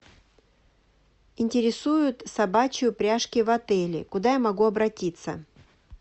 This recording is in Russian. интересуют собачьи упряжки в отеле куда я могу обратиться